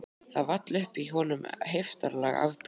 Það vall upp í honum heiftarleg afbrýði